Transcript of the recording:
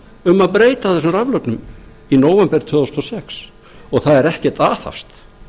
um að breyta þessum raflögnum í nóvember tvö þúsund og sex og það er ekkert aðhafst